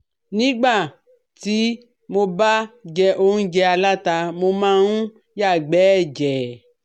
Nígbà tí mo ba jẹ óúnjẹ aláta, mo máa ń yàgbẹ́ ẹ̀jẹ̀